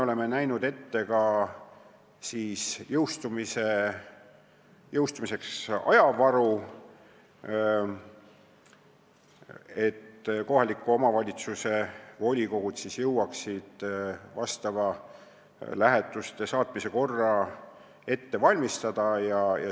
Oleme selle sätte jõustumiseks ette näinud ka ajavaru, et kohaliku omavalitsuse volikogud jõuaksid asjaomase lähetuste saatmise korra ette valmistada.